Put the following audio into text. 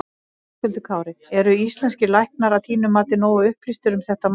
Höskuldur Kári: Eru íslenskir læknar að þínu mati nógu upplýstir um þetta mál?